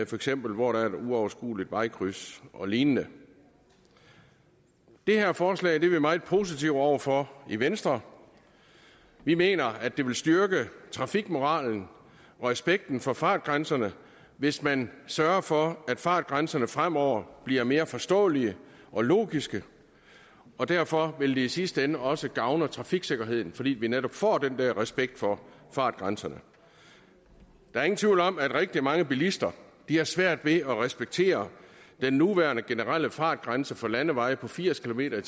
for eksempel hvor der er et uoverskueligt vejkryds og lignende det her forslag er vi meget positivt indstillet over for i venstre vi mener at det vil styrke trafikmoralen og respekten for fartgrænserne hvis man sørger for at fartgrænserne fremover bliver mere forståelige og logiske og derfor vil det i sidste ende også gavne trafiksikkerheden fordi vi netop får den der respekt for fartgrænserne der er ingen tvivl om at rigtig mange bilister har svært ved at respektere den nuværende generelle fartgrænse for landeveje på firs kilometer